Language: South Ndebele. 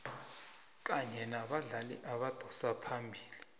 kanye nabadlali abadosa phambili